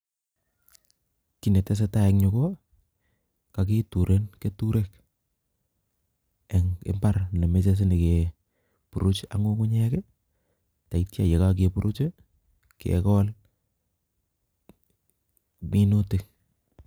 Kiy netesetai en yuu ko kagituren keturek eng' imbar ne mechei sinyikeburuch ak ng'ung'unyek, tetia ye kageburuch kegol minutik